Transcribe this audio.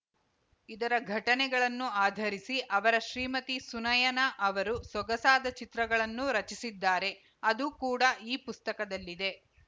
ಇದರ ಘಟನೆಗಳನ್ನು ಆಧರಿಸಿ ಅವರ ಶ್ರೀಮತಿ ಸುನಯನಾ ಅವರು ಸೊಗಸಾದ ಚಿತ್ರಗಳನ್ನೂ ರಚಿಸಿದ್ದಾರೆ ಅದು ಕೂಡ ಈ ಪುಸ್ತಕದಲ್ಲಿದೆ